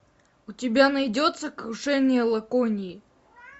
у тебя найдется крушение лаконии